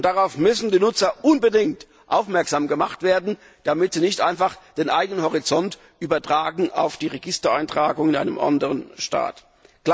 Und darauf müssen die Nutzer unbedingt aufmerksam gemacht werden, damit sie nicht einfach den eigenen Horizont auf die Registereintragungen in einem anderen Staat übertragen.